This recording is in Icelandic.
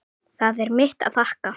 Það er mitt að þakka.